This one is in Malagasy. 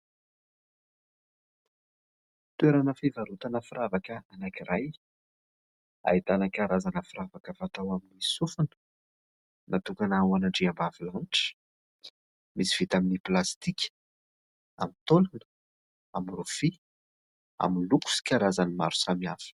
Toerana fivarotana firavaka anankiray ahitana karazana firavaka fatao amin'ny sofina, natokana ho an'andriambavilanitra misy vita amin'ny plastika, amin'ny taolana, amin'ny rofia, amin'ny loko sy karazany maro samihafa.